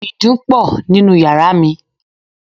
Ìdun pọ̀ nínú yàrá mi.